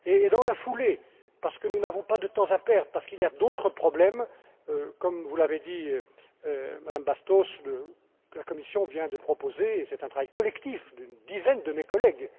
Dans la foulée, parce que nous n'avons pas de temps à perdre, parce qu'il y a d'autres problèmes, comme vous l'avez dit, Madame Bastos, la Commission vient de proposer c'est un travail collectif d'une dizaine de mes collègues